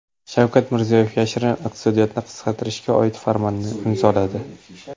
Shavkat Mirziyoyev yashirin iqtisodiyotni qisqartirishga oid farmonni imzoladi.